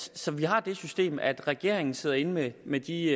så vi har det system at regeringen sidder inde med de